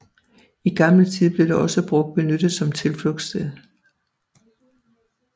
I gammel tid blev det også brugt benyttet som tilflugtssted